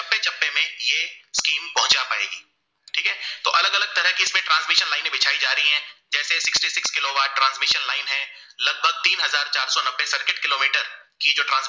की जो